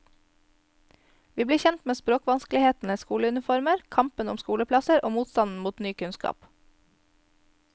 Vi blir kjent med språkvanskelighetene, skoleuniformer, kampen om skoleplasser og motstanden mot ny kunnskap.